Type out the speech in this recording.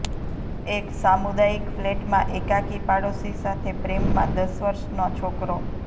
એક સામુદાયિક ફ્લેટમાં એકાકી પાડોશી સાથે પ્રેમ માં દસ વર્ષના છોકરો